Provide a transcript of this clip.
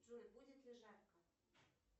джой будет ли жарко